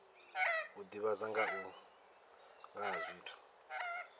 u divhadza nga ha zwithu